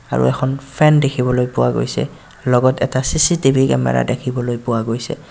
আৰু এখন ফেন দেখিবলৈ পোৱা গৈছে লগত এটা চি_চি_টি_ভি কেমেৰা দেখিবলৈ পোৱা গৈছে.